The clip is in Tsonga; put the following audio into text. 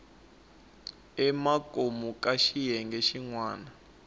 emakumu ka xiyenge xin wana